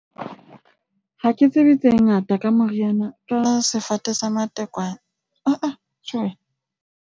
Ha ke tsebe tse ngata ka moriana ka sefate sa matekwane ha-ah